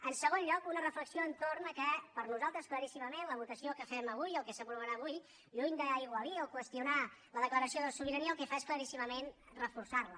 en segon lloc una reflexió entorn del fet que per nosaltres claríssimament la votació que fem avui el que s’aprovarà avui lluny d’aigualir o qüestionar la declaració de sobirania el que fa és claríssimament reforçar la